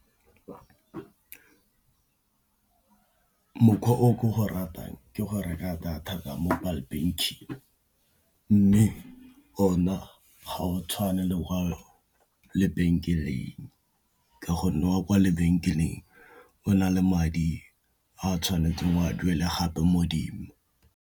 Mokgwa o ke o ratang ke go reka data ka mobile banking, mme o na go tshwana le kwa lebenkeleng ka gonne wa kwa lebenkeleng o na le madi a tshwanetseng go a duela gape mo 'dimo.